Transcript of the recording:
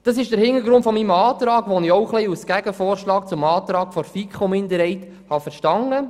Dies ist der Hintergrund meines Antrags, den ich ein wenig als Gegenvorschlag zu jenem der FiKo-Minderheit verstehe.